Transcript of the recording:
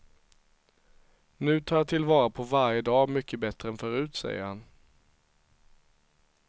Nu tar jag tillvara på varje dag mycket bättre än förut, säger han.